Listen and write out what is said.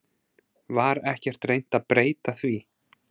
Var ekkert reynt að breyta því?